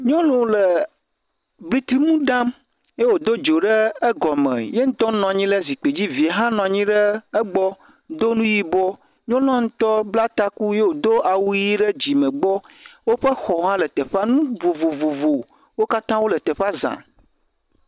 Nyɔnu le blitimu ɖam, ye wòdo dzo ɖe egɔme hee, ye ŋutɔ nɔ anyi ɖe zikpui dzi, evia hã nɔ anyi ɖe egbɔ, do nu yibɔ, nyɔnua ŋutɔ bla taku ye wòdo awu ʋi ɖe dzime gbɔ, woƒe xɔwo le teƒea, nu vovovowo katã wole teƒea za.